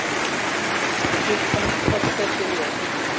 Klukkan korter fyrir eitt